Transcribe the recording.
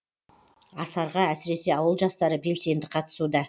асарға әсіресе ауыл жастары белсенді қатысуда